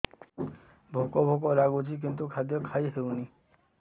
ଭୋକ ଭୋକ ଲାଗୁଛି କିନ୍ତୁ ଖାଦ୍ୟ ଖାଇ ହେଉନି